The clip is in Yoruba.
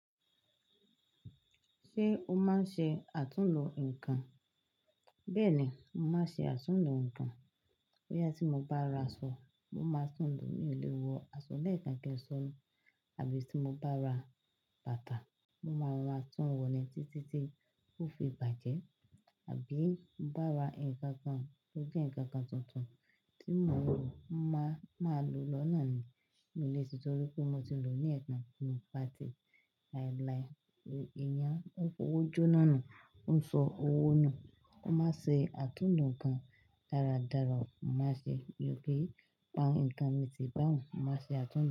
Ṣé o máa ń ṣe àtúnlò ǹkan? Bẹ́ẹ̀ni, mo máa ṣe àtúndùn ǹkan. Bóyá tí mo bá ra aṣọ, mo máa tún lo mi o le wọ aṣọ lẹ́ẹ̀kan kí n ṣọ́nu. Àbí tí mo bá ra bàtà, mo máa ro ra tún wọ̀ ní títí tí ó fi bàjẹ́. Àbí tí mo bá ra ǹkan kan, tí ó jẹ́ ǹkan kan tuntun tí mo ń lò mo máa máa lò lọ́ na ni mi o le títorí pé mo ti lò ó ní ẹ̀ kan ki n pàtí, lie lie, eyán ọwọ́ ojo na nu, o sọ́ọ̀ owó nú, mo máa ṣe àtúnlò ǹkan dáradára, mo má ṣe, mi ò ki n pa ǹkan mí tì bá òun, mo máa ṣe àtúnlò.